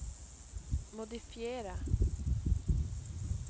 modifiera